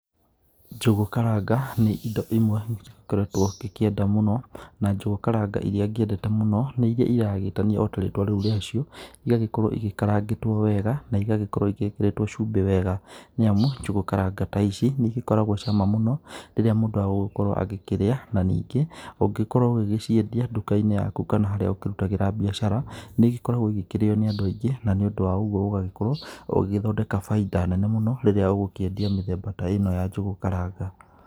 Njũgũ karanga, nĩ indo imwe ngĩkoretwo ngĩkĩenda mũno, na njũgũ karanga iria ngĩkĩendete mũno, nĩ iria iragĩtanio ota rĩtwa rĩu rĩacio, igagĩkorwo igĩkarangĩtwo wega, na igagĩkorwo igĩkĩrĩtwo cumbĩ wega nĩamu, njũgũ karanga ta ici, nĩigĩkoragwo cama mũno, rĩrĩa mũndũ egũgĩkorwo agĩkĩrĩa, na ningĩ ũngĩkorwo ũgĩgĩciendia nduka-inĩ yaku kana harĩa ũkĩrutagĩra mbiacara, nĩigĩkoragwo igĩkĩrĩo nĩ andũ aingĩ, na nĩũndũ wa ũguo ũgagĩkorwo ũgĩgĩthondeka bainda nene mũno, rĩrĩa ũgũkĩendia mĩthemba ta ĩno ya njũgũ karanga.